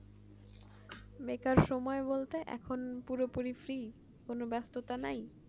বেকার সময় বলতে এখন পুরোপুরি free কোনো ব্যাস্ততা নাই